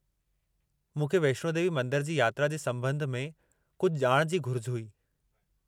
मूंखे वैष्णो देवी मंदर जी यात्रा जे संबं॒ध में कुझु ॼाण जी घुरिज हुई।